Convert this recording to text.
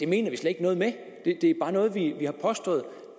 mener vi slet ikke noget med det er bare noget vi har påstået og